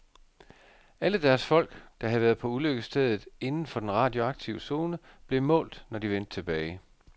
Alle deres folk, der havde været på ulykkesstedet inden for den radioaktive zone, blev målt, når de vendte tilbage.